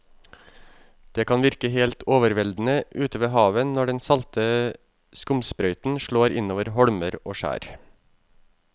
Det kan virke helt overveldende ute ved havet når den salte skumsprøyten slår innover holmer og skjær.